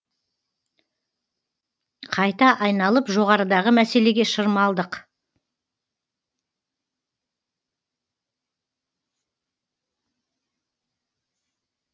қайта айналып жоғарыдағы мәселеге шырмалдық